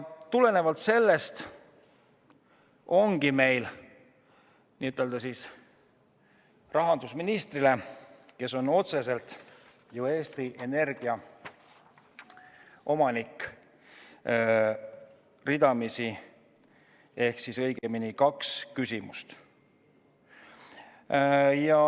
Seetõttu ongi meil rahandusministrile, kes on ju otseselt Eesti Energia omanik, kaks küsimust.